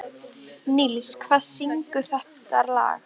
Níls, hver syngur þetta lag?